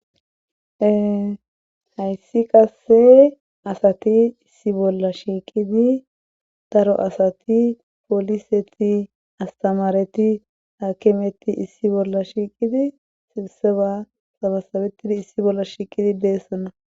Ee hayssi qasse asati issi bolla shiiqidi daro asati poliseti asttamaareti hakimeti issi bolla shiiqidi issiba sabasabettidi issi bolla shiiqidi de7oosona.